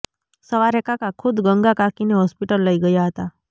સવારે કાકા ખુદ ગંગા કાકીને હોસ્પિટલ લઇ ગયા હતા